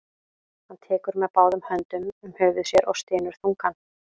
Hann tekur með báðum höndum um höfuð sér og stynur þungan.